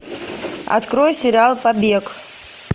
открой сериал побег